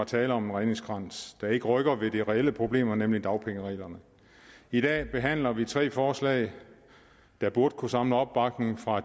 tale om en redningskrans der ikke rykker ved det reelle problem nemlig dagpengereglerne i dag behandler vi tre forslag der burde kunne samle opbakning fra